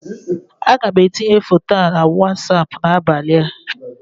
Aga m etinye foto a na wasapụ n'abalị a